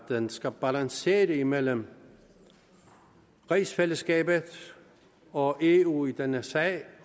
den skal balancere imellem rigsfællesskabet og eu i denne sag